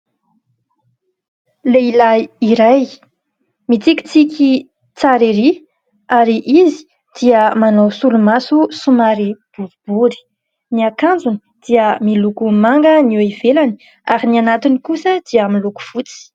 Lehilahy iray mitikitsiky tsara erỳ ary izy dia manao solomaso somary boribory. Ny akanjony dia miloko manga ny eo ivelany ary ny anatiny kosa dia miloko fotsy.